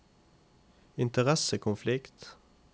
interessekonflikt